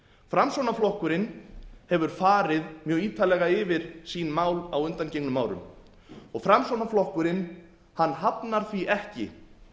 framsóknarflokkurinn hefur farið mjög ítarlega yfir sín mál á undangengnum árum og framsóknarflokkurinn hafnar því ekki